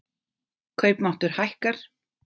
Kaupmáttur hækkar